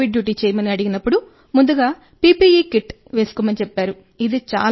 ఈ covid duty చేయమని అడిగినప్పుడు ముందుగా పిపిఇ కిట్ వేసుకొమ్మని చెప్పారు